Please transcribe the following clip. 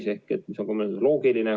See on ka loogiline.